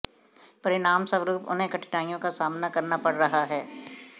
परिणामस्वरूप उन्हें कठिनाइयों का सामना करना पड़ रहा है